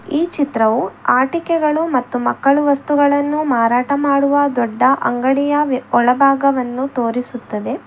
ಈ ಚಿತ್ರವು ಆಟಿಕೆಗಳು ಮತ್ತು ಮಕ್ಕಳ ವಸ್ತುಗಳನ್ನು ಮಾರಾಟ ಮಾಡುವ ದೊಡ್ಡ ಅಂಗಡಿಯ ಒಳಭಾಗವನ್ನು ತೋರಿಸುತ್ತದೆ.